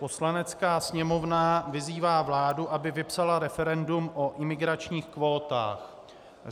Poslanecká sněmovna vyzývá vládu, aby vypsala referendum o imigračních kvótách.